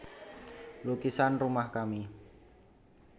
Lukisan Rumah Kami